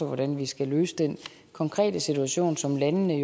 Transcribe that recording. hvordan vi skal løse den konkrete situation som landene